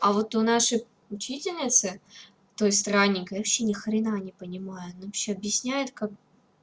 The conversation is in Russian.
а вот у нашей учительницы той страненькой вообще ни хрена не понимаю она вообще объясняет как